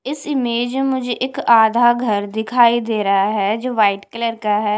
इस इमेज मुझे एक आध घर दिखाई दे रहा है जो वाइट कलर का है।